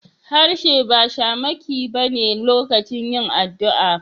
Harshe ba shamaki ba ne lokacin yin addu'a.